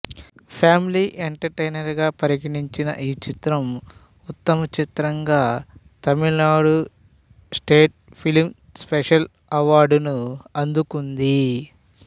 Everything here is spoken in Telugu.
ఫ్యామిలీ ఎంటర్టైనర్ గా పరిగణించిన ఈ చిత్రం ఉత్తమ చిత్రంగా తమిళనాడు స్టేట్ ఫిల్మ్ స్పెషల్ అవార్డును అందుకుంది